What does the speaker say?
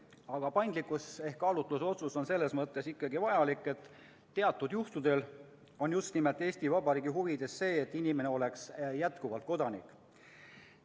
Aga paindlikkus ehk kaalutlusotsus on selles mõttes ikkagi vajalik, et teatud juhtudel on Eesti Vabariigi huvides just nimelt see, et inimene oleks jätkuvalt kodanik.